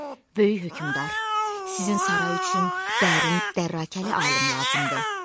Böyük hökmdar, sizin saray üçün dərin dərrakəli alim lazımdır.